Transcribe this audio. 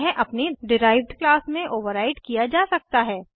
यह अपनी derived class में ओवर्राइड किया जा सकता है